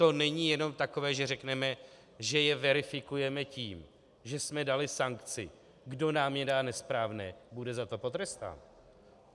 To není jenom takové, že řekneme, že je verifikujeme tím, že jsme dali sankci, kdo nám je dá nesprávné, bude za to potrestán.